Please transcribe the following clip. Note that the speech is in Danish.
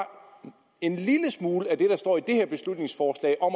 en lille smule af det der står i det her beslutningsforslag om